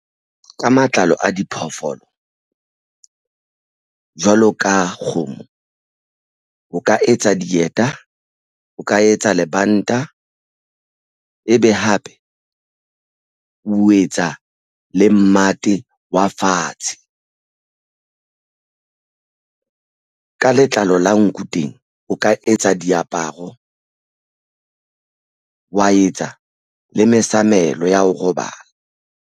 Ka matlalo a diphoofolo jwalo ka kgomo o ka etsa dieta o ka etsa lebanta ebe hape o etsa le mmate wa fatshe ka letlalo la nku teng o ka etsa diaparo wa etsa le mesamelo ya ho robala.